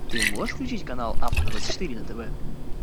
ты можешь включить канал авто двадцать четыре на тв